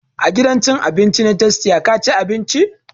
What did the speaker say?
A gidan cin abinci na tastia ka ci abinci?